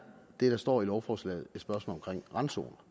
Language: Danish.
det der står i lovforslaget et spørgsmål om randzoner